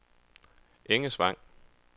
Engesvang